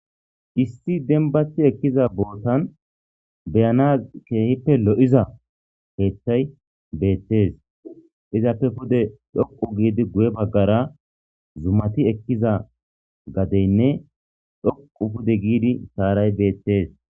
Issi denbati ekkiza bootan beyana keehippe lo'iza heethay beettes izappe pude dhoqu giidi guye baggara zumati ekkiza gadeynne dhoqu pude giidi saaray beettees.